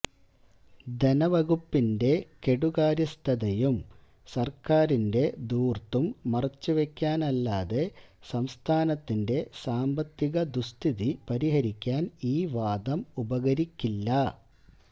ധനവകുപ്പിന്റെ കെടുകാര്യസ്ഥതയും സര്ക്കാരിന്റെ ധൂര്ത്തും മറച്ചുവെക്കാനല്ലാതെ സംസ്ഥാനത്തിന്റെ സാമ്പത്തിക ദുസ്ഥിതി പരിഹരിക്കാന് ഈ വാദം ഉപകരിക്കില്ല